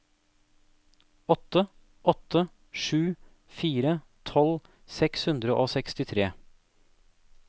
åtte åtte sju fire tolv seks hundre og sekstitre